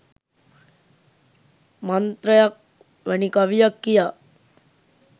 මන්ත්‍රයක් වැනි කවියක් කියා